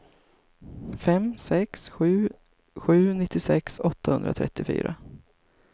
fem sex sju sju nittiosex åttahundratrettiofyra